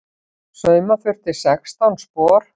Sauma þurfti sextán spor.